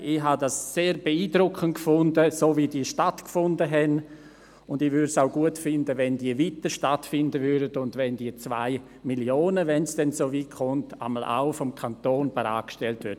Ich fand es sehr beeindruckend, wie diese stattfanden und ich fände es auch gut, wenn sie weiterhin stattfänden und wenn die 2 Mio. Franken – wenn die SwissSkills denn zustande kommen – vom Kanton bereitgestellt würden.